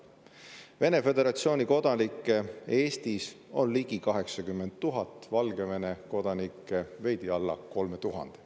Venemaa Föderatsiooni kodanikke on Eestis ligi 80 000, Valgevene kodanikke veidi alla 3000.